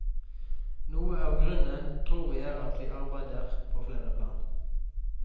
Noe av grunnen tror vi er at vi arbeider på flere plan.